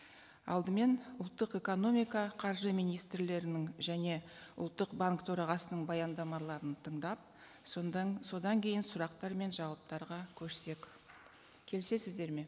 алдымен ұлттық экономика қаржы министрлерінің және ұлттық банк төрағасының баяндамаларын тыңдап содан кейін сұрақтар мен жауаптарға көшсек келісесіздер ме